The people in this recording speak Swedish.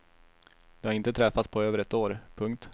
De har inte träffats på över ett år. punkt